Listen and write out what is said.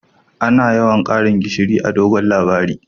Ana yawan Karin gishiri a'dogon labari.